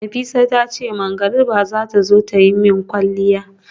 Nafisat tace magariba zata zo tayi min kwalliya